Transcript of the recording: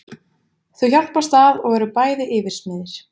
Þau hjálpast að og eru bæði yfirsmiðir.